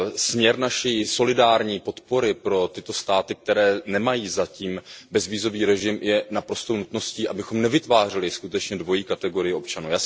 Směr naší solidární podpory pro tyto státy, které nemají zatím bezvízový režim, je naprostou nutností, abychom skutečně nevytvářeli dvojí kategorii občanů.